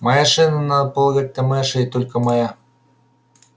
моя шея надо полагать это моя шея и только моя